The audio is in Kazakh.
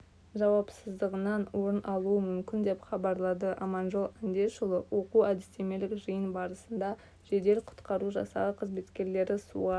жауапсыздығынан орын алуы мүмкін деп хабарлады аманжол андешұлы оқу-әдістемелік жиын барысында жедел-құтқару жасағы қызметкерлері суға